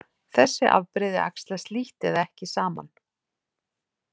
Þessi afbrigði æxlast lítt eða ekki saman.